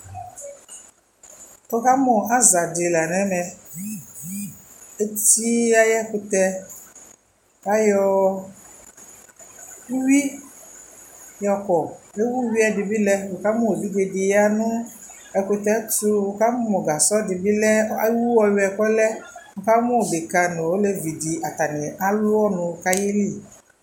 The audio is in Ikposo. Ukamu aza di la nu ɛmɛ eti ayɛ ɛkutɛ kayɔ uyui yɔkɔ ukamu ewu uyui lɛ ukamu evidze di bi ya nu ɛkutɛ tu ukamu gasɔ di bi lɛ ewu ɔyuɛ bi kɔ lɛ ukamu ɖeka nu elevidi atani alu ɔnu ku ayili